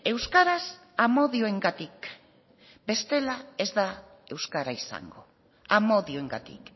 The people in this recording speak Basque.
euskaraz amodioengatik bestela ez da euskara izango amodioengatik